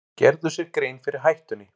Gerðu sér grein fyrir hættunni